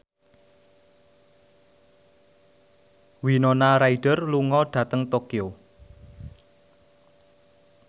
Winona Ryder lunga dhateng Tokyo